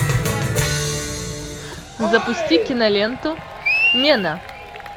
запусти киноленту мена